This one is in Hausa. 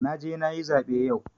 Na je na yi zaɓe yau.